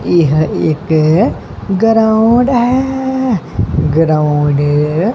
ਇਹ ਇੱਕ ਗਰਾਊਂਡ ਹੈ ਗਰਾਊਂਡ --